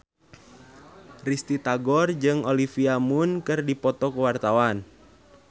Risty Tagor jeung Olivia Munn keur dipoto ku wartawan